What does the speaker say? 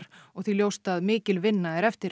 og því ljóst að mikil vinna er eftir